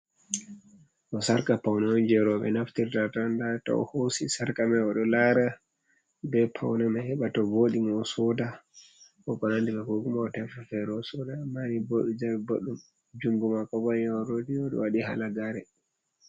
Ɗo sarka paune on, ɓe naftirta nda o hosi sarka mai oɗo lara be paune mai heɓa to woɗi mo osoda fere osoda a mari bodi jare boɗɗum jungo mako bayao rodiyoo wadi halagare.